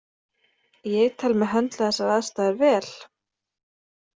Ég tel mig höndla þessar aðstæður vel.